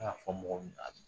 N'a y'a fɔ mɔgɔ min do a tɛ